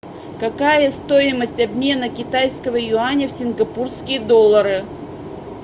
какая стоимость обмена китайского юаня в сингапурские доллары